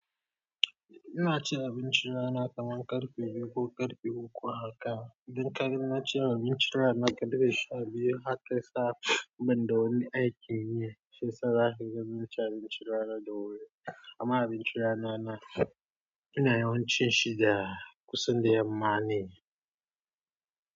Ina cin abinci rana kaman karfe biyu ko karfe uku haka. Don kar ina ci abinci rana karfe sha biyu haka saboda wani aikin yi yasa na fi gudanar da abinci rana da wuri. Amma abinci rana na, ina yawan cin shi da kusan da yamma ne.